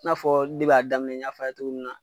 I n'a fɔ depi a daminɛ n y'a f'a ye cogo min na.